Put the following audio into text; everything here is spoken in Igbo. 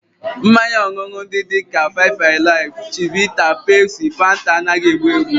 Mmanya ọṅụṅụ ndị dị ka five alive, chivita, Pepsi, Fanta, anaghị egbu egbu